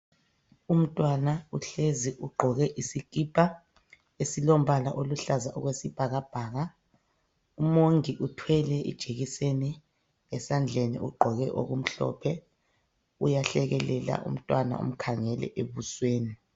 Umntwana uhlezi, ugqoke isikipa esilombala oluhlaza okwesibhakabhaka. Umongi uthwele ijekiseni esandleni, ugqoke okumhlophe. Uyahlekelela. Umntwana umkhangele ebusweni.